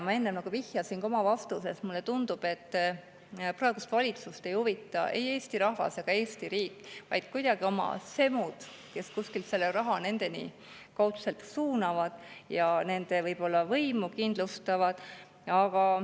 Ma enne vihjasin ka oma vastuses, et mulle tundub, et praegust valitsust ei huvita ei Eesti rahvas ega Eesti riik, vaid oma semud, kes kuskilt selle raha kaudselt nendeni suunavad ja nende võimu kindlustavad.